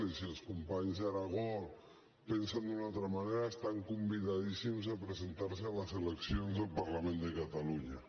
i si els companys de l’aragó pensen d’una altra manera estan convidadíssims a presentarse a les eleccions al parlament de catalunya